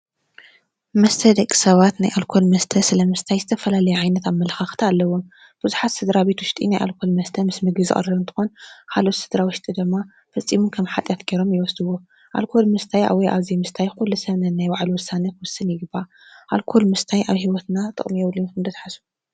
መስተ ደቂሰባት ናይ ኣልኮል መስተ ስለምስታይ ዝተፈላለየ ዓይነት ኣመለኻኽታ ኣለዎም፡፡ ብዙሓት ስድራቤት ውሽጢ መስተ ምስ ምግቢ ዝቐርብ እንትኾን ካልኦት ስድራ ውሽጢ ድማ ፈፂሙ ከም ሓጢያት ገይሮም ይወስድዎ፡፡ ኣልኮል ምስታይ ወይ ኣብ ዘይምስታይ ኩሉ ሰብ ነናይ ባዕሉ ውሳነ ክውስን ይግባእ፡፡ ኣልኮል ምስታይ ኣብ ሂወትና ጥቕሚ የብሉን ኢልኩም ዶ ትሓስቡ?